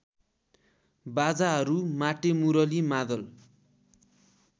बाजाहरू माटेमुरली मादल